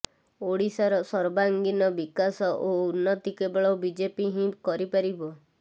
ଓଡିଶାର ସର୍ବାଙ୍ଗୀନ ବିକାଶ ଓ ଉନ୍ନତି କେବଳ ବିଜେପି ହିଁ କରିପାରିବ